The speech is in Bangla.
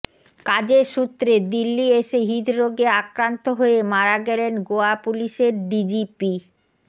কাজের সূত্রে দিল্লি এসে হৃদরোগে আক্রান্ত হয়ে মারা গেলেন গোয়া পুলিশের ডিজিপি